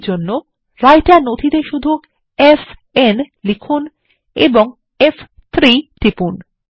এরজন্য রাইটার নথিতে শুধু এফএন লিখুন এবং ফ3 টিপুন